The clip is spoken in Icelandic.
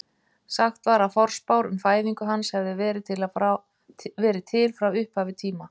Sagt var að forspár um fæðingu hans hefðu verið til frá upphafi tíma.